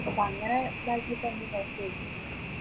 അപ്പോ അങ്ങനെ ഇതാക്കിയിട്ട്